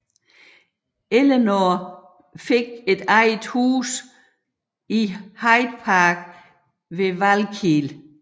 Eleanor fik et eget hus i Hyde Park ved Valkill